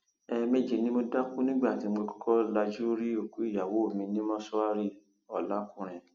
ẹẹmejì ni mo dákú nígbà tí mo kọkọ lajú rí òkú ìyàwó mi ní mọṣúárìọlàkùnrin